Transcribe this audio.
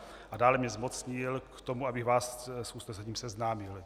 A dále mě zmocnil k tomu, aby vás s usnesením seznámil.